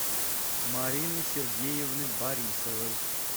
марины сергеевны борисовой